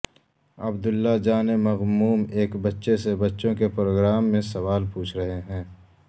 عبداللہ جان مغموم ایک بچے سے بچوں کے پروگرام میں سوال پوچھ رہے ہیں